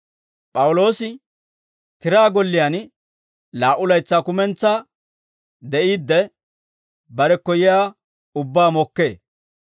P'awuloosi kiraa golliyaan laa"u laytsaa kumentsaa de'iidde, barekko yiyaa ubbaa mokkee.